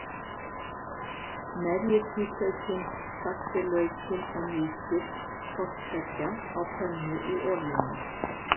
Merjið hvítlaukinn, saxið laukinn og mýkið hvort tveggja á pönnu í olíunni.